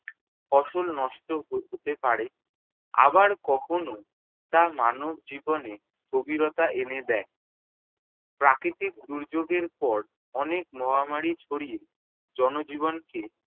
ফসল নষ্ট হ~ হতে পারে আবার কখনও তা মানবজীবনে স্থবিরতা এনে দেয়। প্রাকৃতিক দুর্যোগের পর অনেক মহামারী ছড়িয়ে জন-জীবনকে